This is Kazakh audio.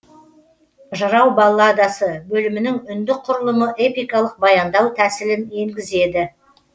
жырау балладасы бөлімінің үндік құрылымы эпикалық баяндау тәсілін енгізеді